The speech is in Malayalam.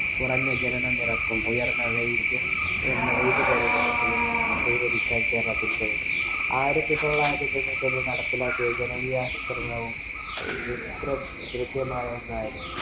കുറഞ്ഞ ജനനനിരക്കും ഉയര്‍ന്ന കൈവരിക്കാന്‍ കേരളത്തിനു കഴിഞ്ഞു. ആയിരത്തി തൊള്ളായിരത്തി തൊണ്ണൂറ്റിയൊന്നില്‍ നടപ്പിലാക്കിയ ജനകീയ ആസൂത്രണവും കൃത്യമായ ഒന്നായിരുന്നു.